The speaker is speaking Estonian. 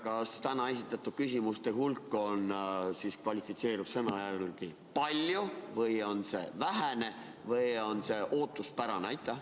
Kas täna esitatud küsimuste hulk kvalifitseerub sõna järgi "palju", "vähe" või "ootuspärane"?